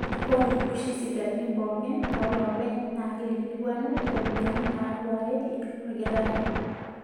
Ore oshi sipitalini pookin oolopeny na keikilikuanu ropiyiani naduareki olkitarri.